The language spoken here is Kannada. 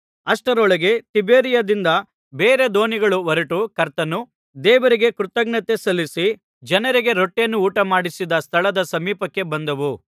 ಅಷ್ಟರೊಳಗೆ ತಿಬೇರಿಯಾದಿಂದ ಬೇರೆ ದೋಣಿಗಳು ಹೊರಟು ಕರ್ತನು ದೇವರಿಗೆ ಕೃತಜ್ಞತೆ ಸಲ್ಲಿಸಿ ಜನರಿಗೆ ರೊಟ್ಟಿಯನ್ನು ಊಟಮಾಡಿಸಿದ ಸ್ಥಳದ ಸಮೀಪಕ್ಕೆ ಬಂದವು